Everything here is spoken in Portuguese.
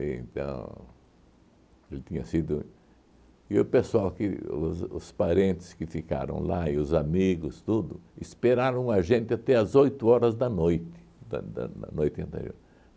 então. Ele tinha sido. E o pessoal que os os parentes que ficaram lá e os amigos tudo, esperaram a gente até às oito horas da noite. Da da noite anterior